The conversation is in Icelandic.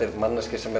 manneskja sem